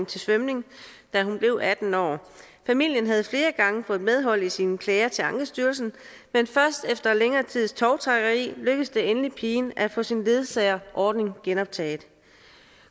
til svømning da hun blev atten år familien havde flere gange fået medhold i sine klager til ankestyrelsen men først efter længere tids tovtrækkeri lykkedes det endelig pigen at få sin ledsagerordning genoptaget